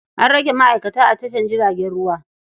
An rage ma'aikata a tashar jiragen ruwa.